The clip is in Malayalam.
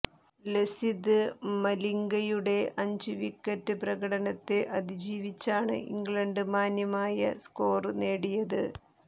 ലസിത് മലിംഗയുടെ അഞ്ച് വിക്കറ്റ് പ്രകടനത്തെ അതിജീവിച്ചാണ് ഇംഗ്ലണ്ട് മാന്യമായ സ്കോര് നേടിയത്